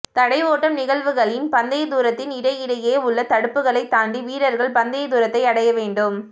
தடை ஓட்டம் நிகழ்வுகளின் பந்தய தூரத்தின் இடை இடையெ உள்ள தடுப்புகளை தாண்டி வீரர்கள் பந்தய தூரத்தை அடைய வேண்டும்